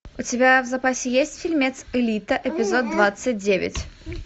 у тебя в запасе есть фильмец элита эпизод двадцать девять